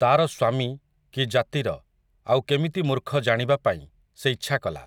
ତା'ର ସ୍ୱାମୀ, କି ଜାତିର, ଆଉ କେମିତି ମୂର୍ଖ ଜାଣିବା ପାଇଁ, ସେ ଇଚ୍ଛା କଲା ।